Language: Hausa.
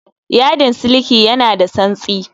Yadin siliki ya na da tsantsi